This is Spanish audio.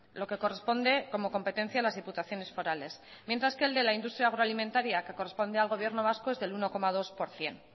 lo que corresponde como competencia a las diputaciones forales mientras que el de la industria agroalimentaria que corresponde al gobierno vasco es del uno coma dos por ciento